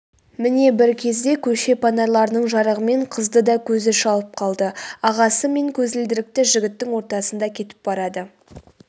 міне бір кезде көше панарларының жарығымен қызды да көзі шалып қалды ағасы мен көзілдірікті жігіттің ортасында кетіп барады